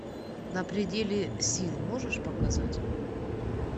на пределе сил можешь показать